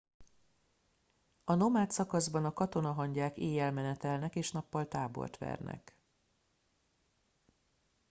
a nomád szakaszban a katonahangyák éjjel menetelnek és nappal tábort vernek